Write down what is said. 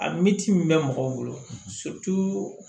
A min ci min bɛ mɔgɔw bolo